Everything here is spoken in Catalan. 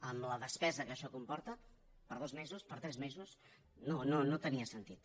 amb la despesa que això comporta per dos mesos per tres mesos no no tenia sentit